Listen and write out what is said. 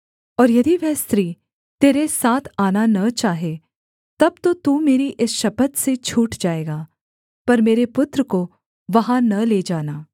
और यदि वह स्त्री तेरे साथ आना न चाहे तब तो तू मेरी इस शपथ से छूट जाएगा पर मेरे पुत्र को वहाँ न ले जाना